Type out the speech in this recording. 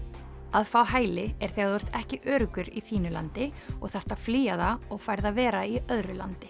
að fá hæli er þegar þú ert ekki öruggur í þínu landi og þarft að flýja það og færð að vera í öðru landi